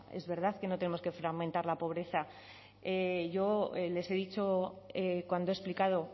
es verdad que no tenemos que fragmentar la pobreza yo les he dicho cuando he explicado